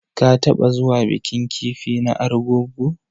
Ka taɓa zuwa bikin kifi na argungu.